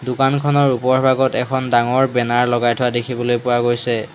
দোকানখনৰ ওপৰভাগত এখন ডাঙৰ বেনাৰ লগাই থোৱা দেখিবলৈ পোৱা গৈছে।